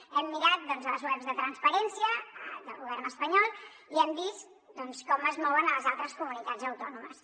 hem mirat doncs les webs de transparència del govern espanyol i hem vist com es mouen a les altres comunitats autònomes